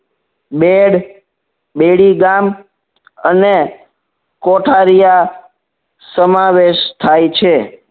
bed બેડીગામ અને કોઠારીયા સમાવેશ થાય છે